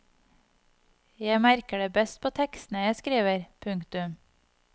Jeg merker det best på tekstene jeg skriver. punktum